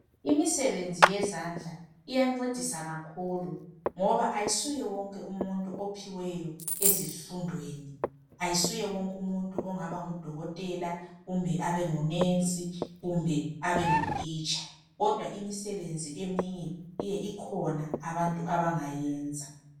Imisebenzi yezandla iyancedisa kakhulu ngoba ayisuye wonke umuntu ophiweyo ezifundweni , ayisuye wonke umuntu ongaba ngudokotela kumbe abe ngunesi kumbe abenguthitsha kodwa imisebenzi eminye ikhona abantu abangayenza.